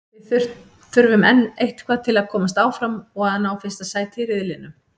Við þurfum enn eitthvað til að komast áfram og að ná fyrsta sæti í riðlinum.